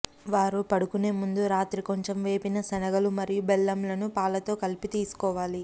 వారు పడుకునే ముందు రాత్రి కొంచెం వేపిన శనగలు మరియు బెల్లంలను పాలతో కలిపి తీసుకోవాలి